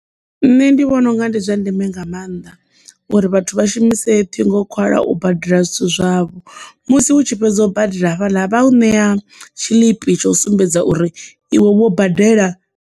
Nṋe ndi vhona unga ndi zwa ndeme nga maanḓa uri vhathu vha shumise ṱhingo nkhwala u badela zwithu zwavho musi hu tshi fhedza u badela hafhaḽa vha u ṋea tshiḽipi tsho sumbedza uri iwe wo badela.